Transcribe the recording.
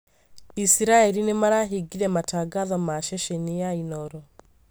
Israeli nĩmarahingire matangatho ma ceceni ya Inooro